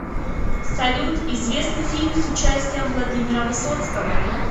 салют известный фильм с участием владимира высоцкого